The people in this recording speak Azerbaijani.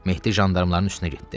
Mehdi jandarmaların üstünə getdi.